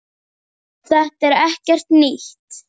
Þetta er ekkert nýtt.